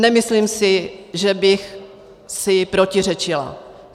Nemyslím si, že bych si protiřečila.